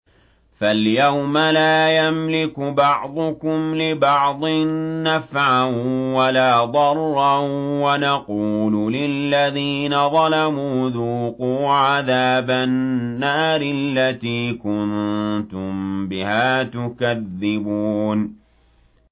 فَالْيَوْمَ لَا يَمْلِكُ بَعْضُكُمْ لِبَعْضٍ نَّفْعًا وَلَا ضَرًّا وَنَقُولُ لِلَّذِينَ ظَلَمُوا ذُوقُوا عَذَابَ النَّارِ الَّتِي كُنتُم بِهَا تُكَذِّبُونَ